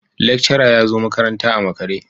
Lecturer ya zo makaranta a makare.